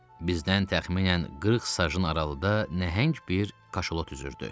Bizdən təxminən 40 sajın aralıda nəhəng bir kaşalot üzürdü.